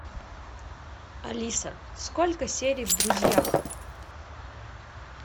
алиса сколько серий в друзьях